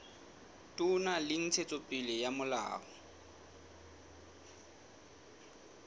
toka le ntshetsopele ya molao